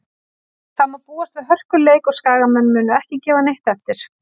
Það má búast við hörkuleik og Skagamenn munu ekki gefa neitt eftir.